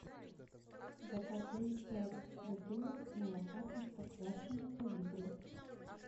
закажи пять бутылок молока простоквашино по литру